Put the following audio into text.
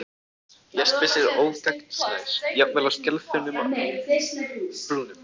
Jaspis er ógagnsær, jafnvel á skelþunnum brúnum.